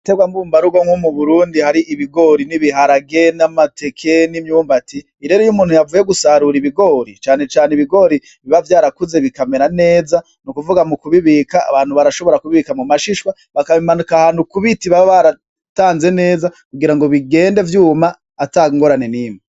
Ibiterwa mbumbarugo nko mu Burundi hari ibigori n'ibiharage n'amateke n'imyumbati. Iyo rero umuntu yavuye gusarura ibigori, cane cane ibigori biba vyarakuze bikamera neza, ni ukuvuga mu kubibika abantu barashobora kubibika mu mashishwa bakabimanika ahantu ku biti baba baratanze neza kugira ngo bigende vyuma ata ngorane n'imwe.